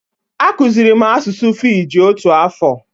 Akụzịrị m asụsụ fiji otu afọ.